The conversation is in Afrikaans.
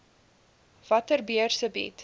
watter beurse bied